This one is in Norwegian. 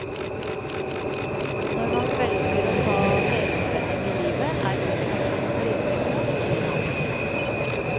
Når man velger å ta helomvending i livet er motivasjonen rimelig god, sier han.